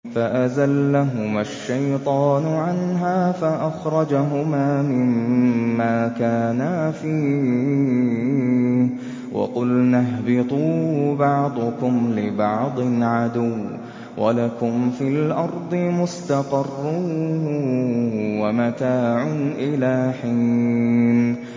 فَأَزَلَّهُمَا الشَّيْطَانُ عَنْهَا فَأَخْرَجَهُمَا مِمَّا كَانَا فِيهِ ۖ وَقُلْنَا اهْبِطُوا بَعْضُكُمْ لِبَعْضٍ عَدُوٌّ ۖ وَلَكُمْ فِي الْأَرْضِ مُسْتَقَرٌّ وَمَتَاعٌ إِلَىٰ حِينٍ